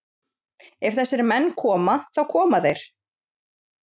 Ef þessir menn koma, þá koma þeir.